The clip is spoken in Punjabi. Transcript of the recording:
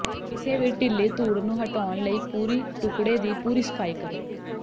ਕਿਸੇ ਵੀ ਢਿੱਲੀ ਧੂੜ ਨੂੰ ਹਟਾਉਣ ਲਈ ਪੂਰੀ ਟੁਕੜੇ ਦੀ ਪੂਰੀ ਸਫਾਈ ਕਰੋ